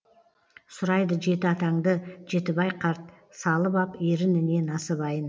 сұрайды жеті атаңды жетібай қарт салып ап ерініне насыбайын